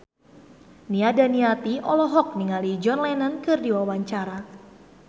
Nia Daniati olohok ningali John Lennon keur diwawancara